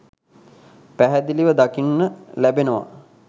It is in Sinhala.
පැහැදිලිව දකින්න ලැබෙනවා.